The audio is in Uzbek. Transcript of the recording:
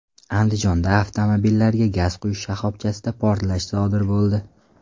Andijonda avtomobillarga gaz quyish shoxobchasida portlash sodir bo‘ldi.